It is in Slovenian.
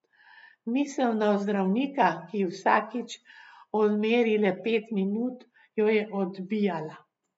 Misel na zdravnika, ki ji vsakič odmeri le pet minut, jo je odbijala.